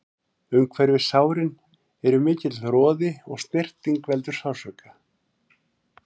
Umhverfis sárin er mikill roði og snerting veldur sársauka.